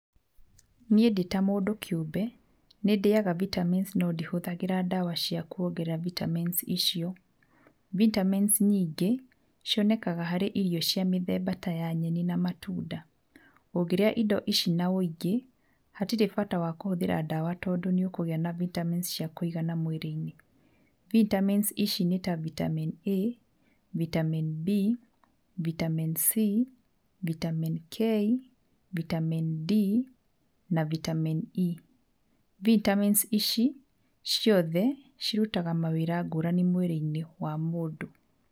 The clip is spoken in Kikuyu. Niĩ ndĩta mũndũ kĩũmbe, nĩ ndĩaga vitamins no ndihũthagĩra ndawa cia kuongerera vitamins icio, vitamins nyingĩ cionekaga harĩ irio cia mĩthemba ta ya nyeni na matunda, ũngĩrĩa indo ici na ũingĩ, hatirĩ bata wa kũhũthĩra ndawa, tondũ nĩ ũkũgia na vitamins cia kũigana mwĩrĩ-inĩ, vitamins ici nĩ ta vitamin A, vitamin B, vitamin C, vitamin K, vitamin D na vitamin E. Vitamins ici ciothe cirutaga mawĩra ngũrani mwĩrĩ-inĩ wa mũndũ.